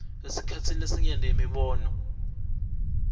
esikhatsini lesinyenti imibono